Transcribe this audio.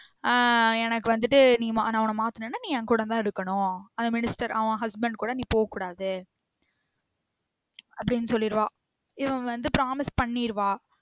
ஆஹ் எனக்கு வந்திட்டு நீ மா~ நான் உன்ன மாத்துநேன்னா என் கூட தான் இருக்கணும் அந்த minister அவன் husband கூட நீ போக்கூடாத அப்டின்னு சொல்லிருவா இவ வந்து promise பண்ணிருவா